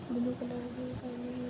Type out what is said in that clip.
blue colour की पहने हुए --